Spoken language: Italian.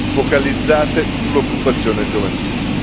focalizzate sull'occupazione giovanile.